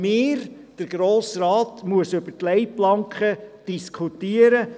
Wir als Grosser Rat müssen über die Leitplanken diskutieren.